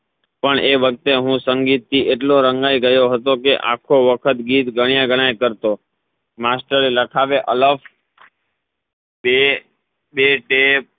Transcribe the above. પણ એ વખતે હું સંગીત થી એટલો રંગાઈ ગયો હતો કે ગીત ગણાય ગણાય કરતો માસ્ટર લખાવે અલગ બે બે